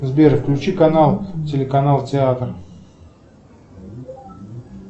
сбер включи канал телеканал театр